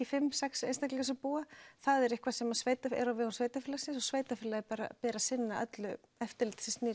fimm sex einstaklingar búa það er eitthvað sem er á vegum sveitarfélagsins og sveitarfélaginu ber að sinna öllu eftirliti sem snýr